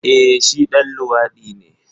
Eh shi ɗan luwadi ne.